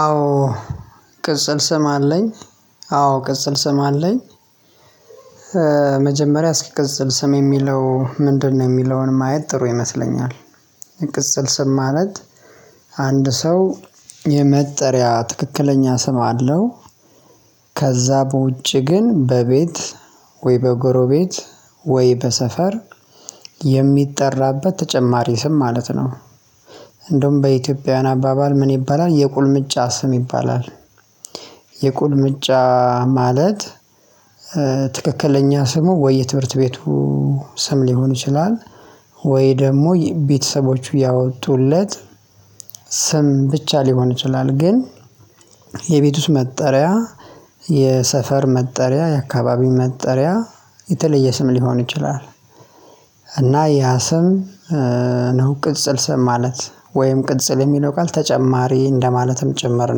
አዎ ቅጽል ስም አለኝ አዎ ቅጽል ስም አለኝ መጀመሪያ እስኪ ቅጽል ስም የሚለው ምንድነው የሚለውን ማየት ጥሩ ይመስለኛል፤ የቅጽል ስም ማለት አንድ ሰው የመጠሪያ ትክክለኛ ስም አለው ከዛ በውጭ ግን በቤት ወይ በጎሮቤት ወይ በሰፈር የሚጠራበት ተጨማሪ ስም ማለት ነው፤ እንደውም በኢትዮጵያውያን አባባል ምን ይባላል የቁልምጫ ስም ይባላል የቁልምጫ ማለት ትክክለኛ ስሙ ወይ የትምህርት ቤቱ ስም ሊሆን ይችላል ወይ ደግሞ ቤተሰቦቹ ያወጡለት ስም ብቻ ሊሆን ይችላል ግን የቤት ውስጥ መጠሪያ የሰፈር መጠሪያ የአካባቢ መጠሪያ የተለየ ስም ሊሆን ይችላል፤ እና ያ ያስም ነው ቅጽል ስም ማለት ወይም ቅጽል የሚለው ቃል ተጨማሪ እንደማለትም ጭምር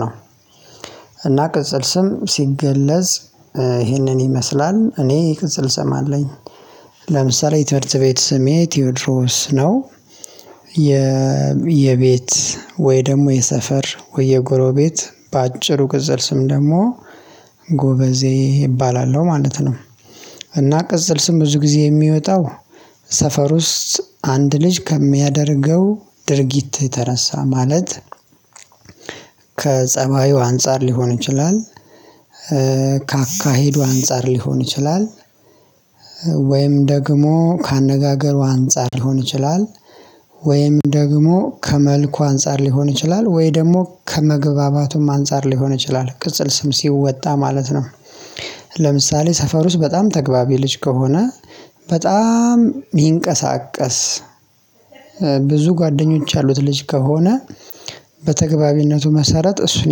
ነው፤ እና ቅጽል ስም ሲገለጽ ይህንን ይመስላል እኔ ቅጽል ስም አለኝ። ለምሳሌ የትምህርት ቤት ስሜ ቴዎድሮስ ነው የቤት ወይ ደግሞ የሰፈር ወይ የጎሮቤት በአጭሩ ቅጽል ስም ደግሞ ጎበዜ እባላለሁ ማለት ነው። እና ቅጽል ስም ብዙ ጊዜ የሚወጣው ሰፈር ውስጥ አንድ ልጅ ከሚያደርገው ድርጊት የተነሳ ማለት ከጸባዩ አንፃር ሊሆን ይችላል ከአካሄዱ አንፃር ሊሆን ይችላል ወይም ደግሞ ከአነጋገሩ አንፃር ሊሆን ይችላል ወይም ደግሞ ከመልኩ አንፃር ሊሆን ይችላ፤ ወይ ደግሞ ከመግባባቱም አንፃር ሊሆን ይችላል ቅጽል ስም ሲወጣ ማለት ነው ለምሳሌ ሰፈር ውስጥ በጣም ተገቢ ልጅ ከሆነ በጣም ይንቀሳቀስ ብዙ ጓደኞች ያሉት ልጅ ከሆነ በተግባቢነቱ መሰረት እሱን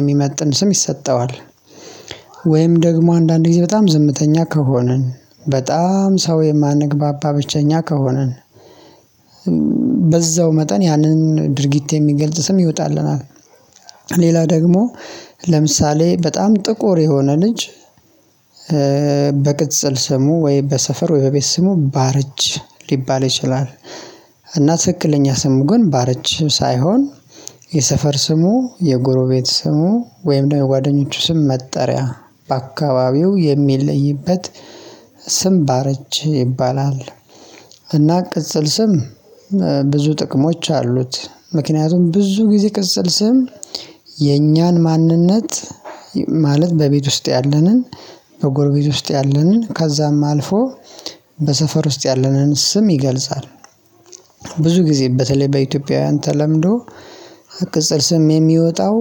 የሚመጥን ስም ይሰጠዋል ወይም ደግሞ አንዳንድ ጊዜ በጣም ዝምተኛ ከሆንን በጣም ሰው የማንግባባ ብቸኛ ከሆነን በዛው መጠን ያንን ድርጊት የሚገልጽ ስም ይወጣልናል፤ ሌላ ደግሞ ለምሳሌ በጣም ጥቁር የሆነ ልጅ በቅጽል ስሙ ወይ በሰፈር ወይ በቤት ስሙ ባርች ሊባል ይችላል እና ትክክለኛ ስሙ ግን ባርች ሳይሆን የሰፈር ስሙ የጎሮቤት ስሙ ወይም ደግሞ ጓደኞቹ ስም መጠሪያ በአካባቢው የሚለይበት ስም ባርች ይባላል፤ እና ቅጽል ስም ብዙ ጥቅሞች አሉት ምክንያቱም ብዙ ጊዜ ቅጽል ስም የኛን ማንነት ማለት በቤት ውስጥ ያለንን በጎርጊት ውስጥ ያለንን ከዛም አልፎ በሰፈር ውስጥ ያለንን ስም ይገልጻል ብዙ ጊዜ በተለይ በኢትዮጵያውያን ተለምዶ ቅጽል ስም የሚወጣው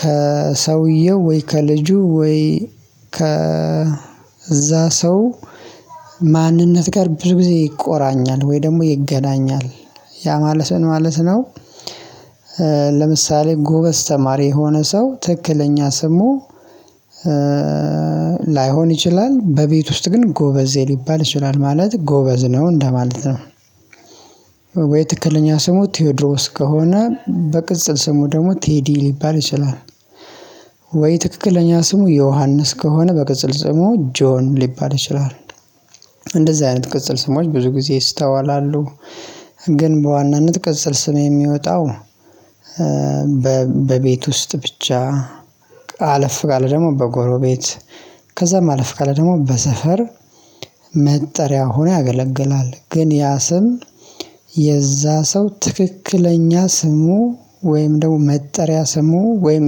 ከሰውየው ወይ ከልጁ ወይ ከ ከእዛ ሰው ማንነት ጋር ብዙ ጊዜ ይቆራኛል ወይ ደግሞ ይገናኛል ያ ማለት ምን ማለት ነው ለምሳሌ ጎበዝ ተማሪ የሆነ ሰው ትክክለኛ ስሙ ላይሆን ይችላል በቤት ውስጥ ግን ጎበዜ ሊባል ይችላል ማለት ጎበዝ ነው እንደማለት ነው፤ ወይ ትክክለኛ ስሙ ቴዎድሮስ ከሆነ በቅጽል ስሙ ደግሞ ቴዲ ሊባል ይችላል ወይ ትክክለኛ ስሙ ዮሐንስ ከሆነ በቅጽል ስሙ ጆን ሊባል ይችላል እንደዚህ አይነት ቅጽል ስሞች ብዙ ጊዜ ይስተዋላሉ ግን በዋናነት ቅጽል ስም የሚወጣው በቤት ውስጥ ብቻ አለፍ ካለ ደግሞ በጎሮቤት ከዛ ማለፍ ካለ ደግሞ በሰፈር መጠሪያ ሆኖ ያገለግላል ግን ያ ስም የዛ ሰው ትክክለኛ ስሙ ወይም ደግሞ መጠሪያ ስሙ ወይም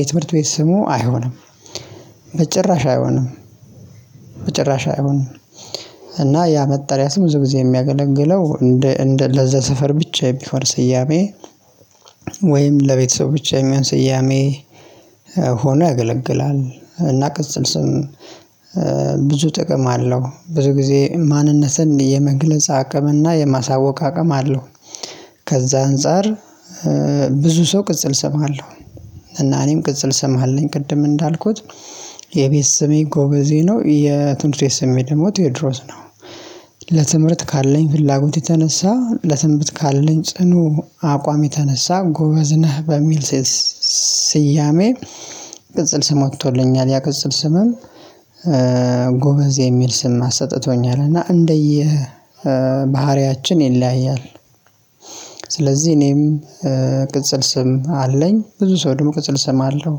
የትምህርት ቤት ስሙ አይሆንም በጭራሽ አይሆንም በጭራሽ አይሆንም እና ያ መጠሪያ ስም ብዙ ጊዜ የሚያገለግለው እንደ ለዘሰፈር ብቻ የሚፈር ስያሜ ወይም ለቤተሰብ ብቻ የሚሆን ስያሜ ሆኖ ያገለግላል እና ቅጽል ስም ብዙ ጥቅም አለው ብዙ ጊዜ ማንነትን የመግለጽ አቅም እና የማሳወቅ አቅም አለው ከዛ አንፃር ብዙ ሰው ቅጽል ስም አለው። እና እኔም ቅጽል ስም አለኝ ቅድም እንዳልኩት የቤት ስሜ ጎበዜ ነው የትንሽ የስሜ ደግሞ ቴዎድሮስ ነው፤ ለትምህርት ካለኝ ፍላጎት የተነሳ ለትንብት ካለኝ ጽኑ አቋም የተነሳ ጎበዝ ነህ በሚል ስስያሜ ቅጽል ስም ወጥቶልኛል ያ ቅጽል ስምም ጎበዜ የሚል ስም አሰጥቶኛል እና እንደየ ባህሪያችን ይለያያል፤ ስለዚህ እኔም ቅጽል ስም አለኝ ብዙ ሰው ደግሞ ቅጽል ስም አለው።